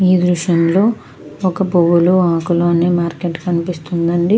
ఈ దుర్షం లో పోవుల్లు. అక్కులు వున్నా ఒక దుర్షం కనిపిస్తూ వుంది.